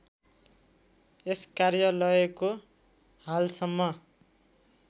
यस कार्यालयको हालसम्म